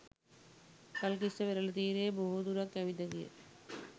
ගල්කිස්ස වෙරළ තීරයේ බොහෝ දුරක් ඇවිද ගිය